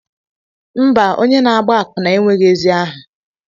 Mba, onye na-agba akwụna enweghị ezi aha